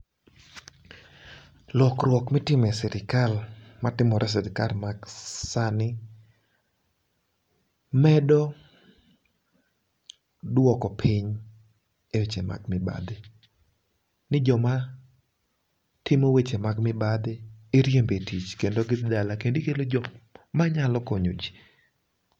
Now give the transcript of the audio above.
lokruok mitimo e sirikal matimore e sirikal masani medo duoko piny e weche mag mibadhi. Ni joma timo weche mag piny iriembo e tich kendo gidhi dala kendo manyalo konyo ji.